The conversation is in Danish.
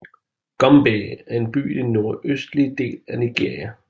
Gombe er en by i den nordøstlige del af Nigeria